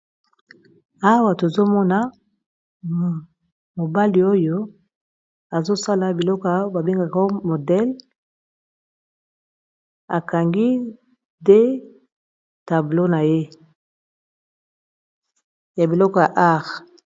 awa tozomona mobali oyo azosala biloko babengaka modele akangi de tablo na ye ya biloko ya ar